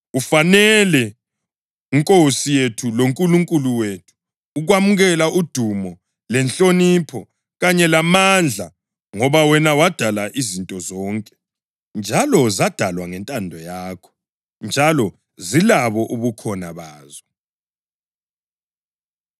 “Ufanele, Nkosi yethu loNkulunkulu wethu, ukwamukela udumo lenhlonipho kanye lamandla, ngoba wena wadala izinto zonke, njalo zadalwa ngentando yakho, njalo zilabo ubukhona bazo.”